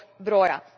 broja.